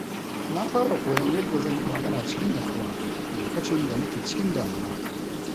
Na fara koyon yadda zan yi magana cikin natsuwa lokacin da nake cikin damuwa.